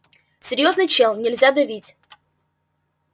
серьёзный чел нельзя давить